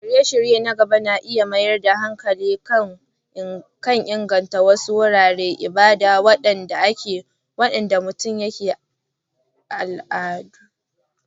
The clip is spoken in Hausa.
Shirye-shiryen na gaba na iya mayar da hankali kan inganta wasu wuraren ibada waɗanda ke mutunta al'adun gargajiya.